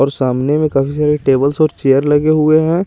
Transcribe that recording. और सामने में कब से टेबल्स और चेयर लगे हुए है।